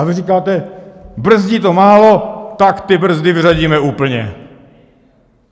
A vy říkáte, brzdí to málo, tak ty brzdy vyřadíme úplně.